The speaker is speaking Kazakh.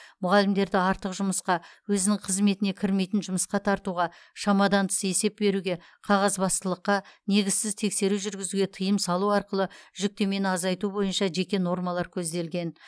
мұғалімдерді артық жұмысқа өзінің қызметіне кірмейтін жұмысқа тартуға шамадан тыс есеп беруге қағазбастылыққа негізсіз тексеру жүргізуге тыйым салу арқылы жүктемені азайту бойынша жеке нормалар көзделген